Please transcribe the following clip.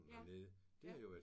Ja ja